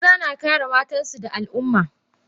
Maza na kare matansu da Al umma.